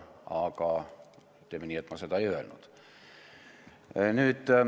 Aga teeme nii, et ma seda ei öelnud.